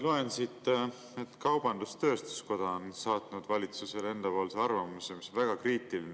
Loen siit, et kaubandus-tööstuskoda on saatnud valitsusele enda arvamuse, mis on väga kriitiline.